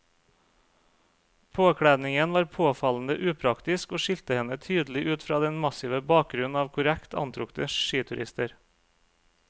Påkledningen var påfallende upraktisk og skilte henne tydelig ut fra den massive bakgrunnen av korrekt antrukne skiturister.